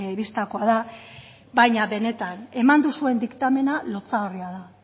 bistakoa da baina benetan eman duzuen diktamena lotsagarria da